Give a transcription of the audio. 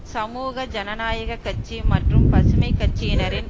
சமூக ஜனநாயக கட்சி மற்றும் பசுமைக்கட்சியினரின்